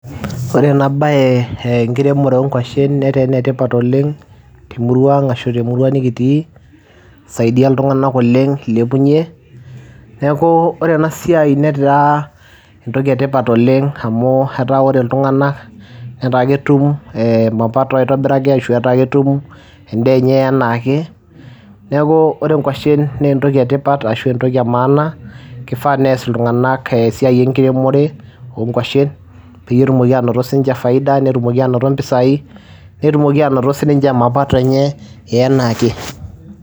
Ore ena baye ee enkiremore oo nkuashen netaa ene tipat oleng' te murua aang' ashu te murua nekitii, isaidia iltung'anak oleng' ilepunye. Neeku ore ena siai netaa entoki e tipat oleng' amu etaa ore iltung'anak netaa ketum ee mapato aitobiraki ashu etaa ketum endaa enye enaa ake. Neeku ore nkuashen nee entoki e tipat ashu entoki e maana kifaa nees iltung'anak esiai enkiremore oo nkuashen peyie etumoki aanoto siinche faida netumoki aanoto mpisai, netumoki aanoto sininche mapato enye enaa ake.